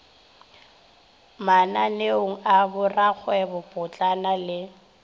mananeong a borakgwebo potlana le